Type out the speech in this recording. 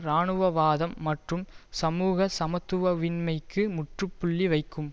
இராணுவவாதம் மற்றும் சமூக சமத்துவின்மைக்கு முற்று புள்ளி வைக்கும்